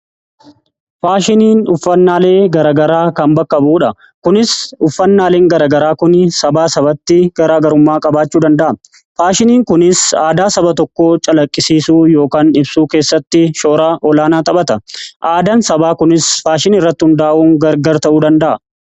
Faashiniin uffannaalee garagaraa kan bakka bu'uudha. Kunis uffannaaleen garagaraa kun sabaa sabatti gara garummaa qabaachuu danda'a. Faashiniin kunis aadaa saba tokkoo calaqqisiisuu ykn ibsuu keessatti shoora olaanaa taphata. Aadaan sabaa kunis faashinii irratti hundaa'uun gargar ta'uu danda'a.